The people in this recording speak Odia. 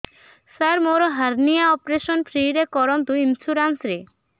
ସାର ମୋର ହାରନିଆ ଅପେରସନ ଫ୍ରି ରେ କରନ୍ତୁ ଇନ୍ସୁରେନ୍ସ ରେ